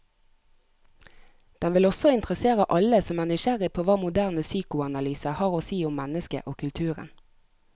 Den vil også interessere alle som er nysgjerrig på hva moderne psykoanalyse har å si om mennesket og kulturen.